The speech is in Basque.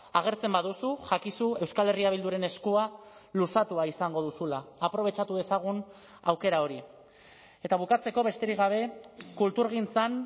agertzen baduzu jakizu euskal herria bilduren eskua luzatua izango duzula aprobetxatu dezagun aukera hori eta bukatzeko besterik gabe kulturgintzan